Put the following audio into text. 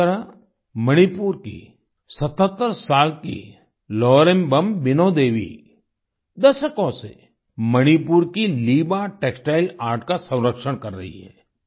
इसी तरह मणिपुर की 77 साल की लौरेम्बम बीनो देवी दशकों से मणिपुर की लिबा टेक्सटाइल आर्ट का संरक्षण कर रही हैं